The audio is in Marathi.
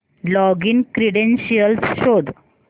लॉगिन क्रीडेंशीयल्स शोध